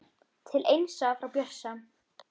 Til Einsa frá Bjössa